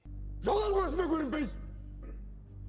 жоғал көзіме көрінбей